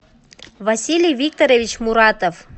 василий викторович муратов